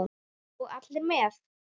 Og allir með.